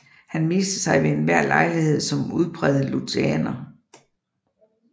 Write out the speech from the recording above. Han viste sig ved enhver lejlighed som udpræget lutheraner